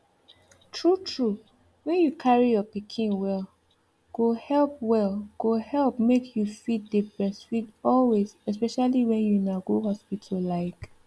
true true when you carry your pikin well go help well go help make you fit dey breastfeed always especially when una go hospital like